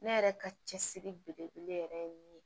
Ne yɛrɛ ka cɛsiri belebele yɛrɛ ye min ye